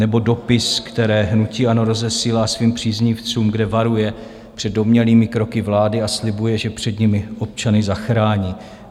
Nebo dopisy, které hnutí ANO rozesílá svým příznivcům, kde varuje před domnělými kroky vlády, a slibuje, že před nimi občany zachrání.